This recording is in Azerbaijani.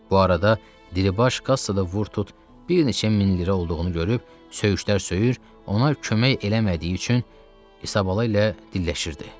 Bu arada Diribaş kassada vur-tut bir neçə min lira olduğunu görüb söyüşlər söyür, ona kömək eləmədiyi üçün İsabala ilə dilləşirdi.